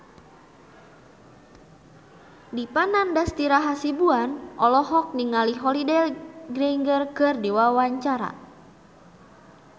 Dipa Nandastyra Hasibuan olohok ningali Holliday Grainger keur diwawancara